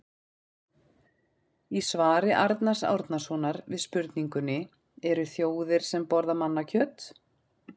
Í svari Arnars Árnasonar við spurningunni Eru til þjóðir sem borða mannakjöt?